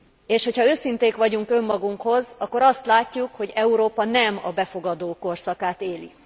És ha őszinték vagyunk önmagunkhoz, akkor azt látjuk, hogy Európa nem a befogadó korszakát éli.